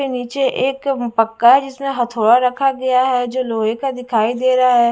के नीचे एक पक्का जिसमें हथौड़ा रखा गया है जो लोहे का दिखाई दे रहा है।